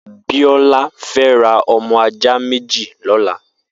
Biola fè rà ọmọ àjá méji lọlá